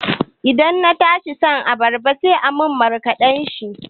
Da na kasa shan abarba sai aka yi min markaɗan shi.